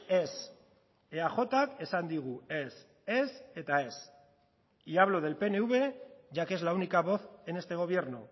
ez eajk esan digu ez ez eta ez y hablo del pnv ya que es la única voz en este gobierno